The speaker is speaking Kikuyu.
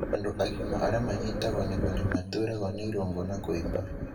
Andũ agima arĩa manyitagwo nĩguo nĩ maturagwo nĩ irũngo na kũimba